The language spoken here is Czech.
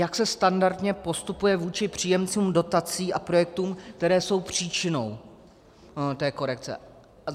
Jak se standardně postupuje vůči příjemcům dotací a projektům, které jsou příčinou té korekce?